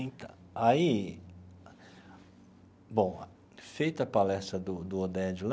Então, aí, bom, feita a palestra do do Oded lá,